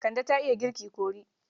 Kande ta iya girki kori.